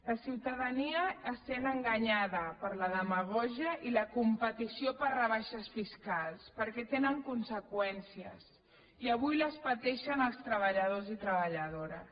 la ciutadania es sent enganyada per la demagògia i la competició per rebaixes fiscals perquè tenen conseqüències i avui les pateixen els treballadors i treballadores